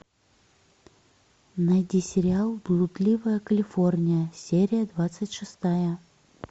найди сериал блудливая калифорния серия двадцать шестая